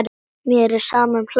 Mér er sama um hlátur.